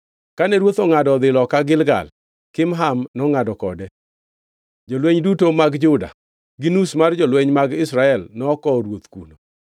Kane ruoth ongʼado odhi loka Gilgal, Kimham nongʼado kode. Jolweny duto mag Juda gi nus mar jolweny mag Israel nokowo ruoth kuno.